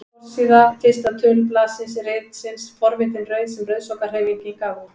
Forsíða fyrsta tölublaðs ritsins Forvitin rauð sem Rauðsokkahreyfingin gaf út.